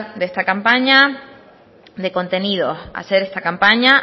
esta campaña de contenidos hacer esta campaña